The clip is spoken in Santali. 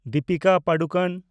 ᱫᱤᱯᱤᱠᱟ ᱯᱟᱰᱩᱠᱚᱱ